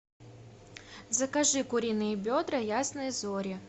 закажи куриные бедра ясные зори